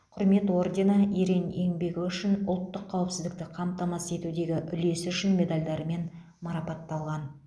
құрмет ордені ерен еңбегі үшін ұлттық қауіпсіздікті қамтамасыз етудегі үлесі үшін медальдарымен марапатталған